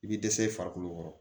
I bɛ dɛsɛ i farikolo kɔrɔ